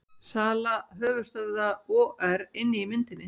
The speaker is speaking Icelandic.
Sala höfuðstöðva OR inni í myndinni